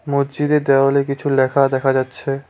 মসজিদের দেওয়ালে কিছু লেখা দেখা যাচ্ছে।